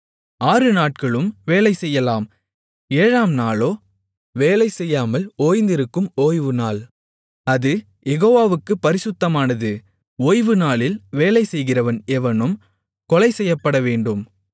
ஆறுநாட்களும் வேலைசெய்யலாம் ஏழாம் நாளோ வேலை செய்யாமல் ஓய்ந்திருக்கும் ஓய்வுநாள் அது யெகோவாவுக்குப் பரிசுத்தமானது ஓய்வுநாளில் வேலைசெய்கிறவன் எவனும் கொலைசெய்யப்படவேண்டும்